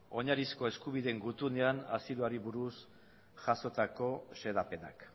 oinarrizko eskubideen gutunean asiloari buruz jasotako xedapenak